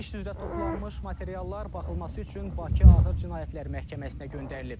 İş üzrə toplanmış materiallar baxılması üçün Bakı Ağır Cinayətlər Məhkəməsinə göndərilib.